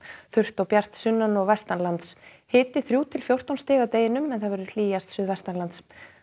þurrt og bjart sunnan og vestanlands hiti þrjú til fjórtán stig að deginum hlýjast suðvestanlands